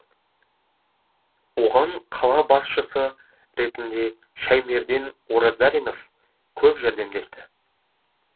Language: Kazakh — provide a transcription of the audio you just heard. оған қала басшысы ретінде шәймерден оразалинов көп жәрдемдесті